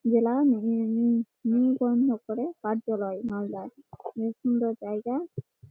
জেলা নিবন্ধ করে কার্য্যালয় মালদা বেশ সুন্দর জায়গা--